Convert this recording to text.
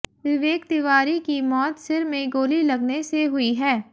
विवेक तिवारी की मौत सिर में गोली लगने से हुई है